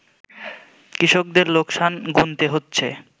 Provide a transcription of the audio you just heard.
কৃষকদের লোকসান গুনতে হচ্ছে